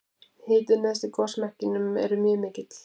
hitinn neðst í gosmekkinum er mjög mikill